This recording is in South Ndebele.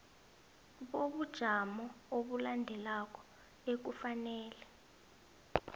bobujamo obulandelako ekufanele